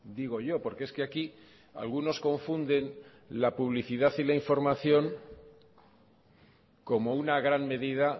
digo yo porque es que aquí algunos confunden la publicidad y la información como una gran medida